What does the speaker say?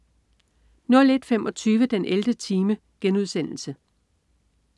01.25 den 11. time*